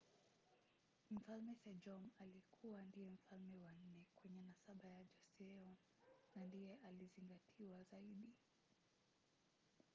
mfalme sejong alikua ndiye mfalme wa nne kwenye nasaba ya joseon na ndiye aliyezingatiwa zaidi